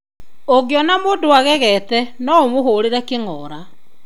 Ũngĩona mũndũ agegete , no ũmũhũrĩre kĩng'ora.